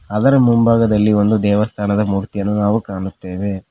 ಅದರ ಮುಂಭಾಗದಲ್ಲಿ ಒಂದು ದೇವಸ್ಥಾನದ ಮೂರ್ತಿಯನ್ನು ನಾವು ಕಾಣುತ್ತೇವೆ.